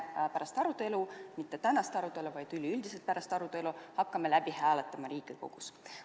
Pärast arutelu – mitte pärast tänast arutelu, vaid üleüldiselt pärast arutelu – hakkame me seda Riigikogus hääletama.